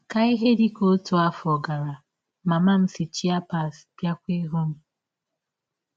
Ka ihe dị ka ọtụ afọ gara, mama m si Chiapas bịakwa ịhụ m.